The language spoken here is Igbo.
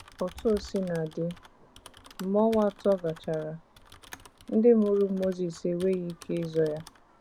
Otú o sina dị, mgbe ọnwa atọ gachara, ndị mụrụ Mozis enweghizi ike izo ya.